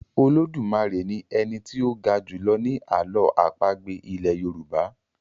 Olodumare ní Eni tí o ga julọ ni àlọ́ àpagbè ilè yorùbá.